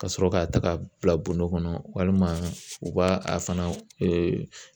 Ka sɔrɔ k'a ta ka bila bɔrɔ kɔnɔ walima u b'a a fana